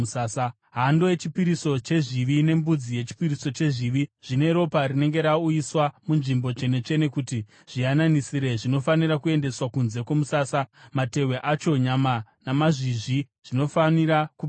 Hando yechipiriso chezvivi nembudzi yechipiriso chezvivi, zvine ropa rinenge rauyiswa muNzvimbo Tsvene-tsvene kuti zviyananisire, zvinofanira kuendeswa kunze kwomusasa, matehwe acho, nyama namazvizvi zvinofanira kupiswa.